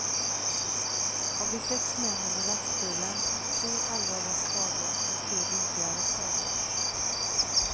Av de sex männen i lastbilen fick tre allvarliga skador och tre lindrigare skador.